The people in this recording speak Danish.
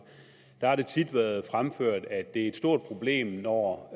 har det tit været fremført at det er et stort problem når